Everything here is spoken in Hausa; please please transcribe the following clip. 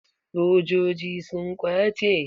Sojoji sun ƙwace?